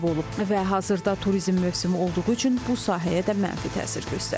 Və hazırda turizm mövsümü olduğu üçün bu sahəyə də mənfi təsir göstərir.